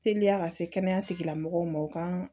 Teliya ka se kɛnɛya tigila mɔgɔw ma u ka